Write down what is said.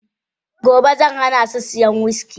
Gobe ​​zan hana su siyan wiski.